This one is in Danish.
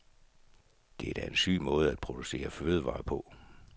Det er da en syg måde at producere fødevarer på.